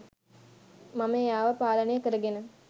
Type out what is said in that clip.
මම එයාව පාලනය කරගෙන